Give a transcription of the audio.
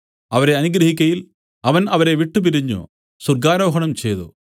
അവരെ അനുഗ്രഹിക്കയിൽ അവൻ അവരെ വിട്ടുപിരിഞ്ഞു സ്വർഗ്ഗാരോഹണം ചെയ്തു